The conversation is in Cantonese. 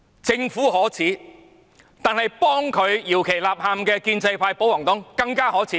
政府可耻，但是，幫政府搖旗吶喊的建制派和保皇黨更可耻！